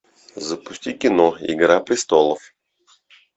запусти кино игра престолов